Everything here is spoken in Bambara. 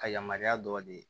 Ka yamaruya dɔ di